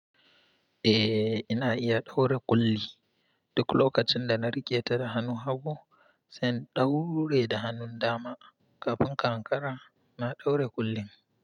Eh, ina iya ɗaure ƙulli. Duk lokacin da na riketa da hannu, hagu sai in ɗaure da hannun dama. Kafin kankara na ɗaure ƙullin.